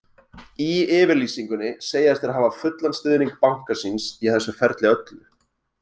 Í yfirlýsingunni segjast þeir hafa fullan stuðning banka síns í þessu ferli öllu.